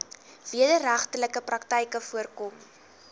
wederregtelike praktyke voorkom